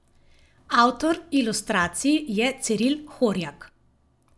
Avtor ilustracij je Ciril Horjak.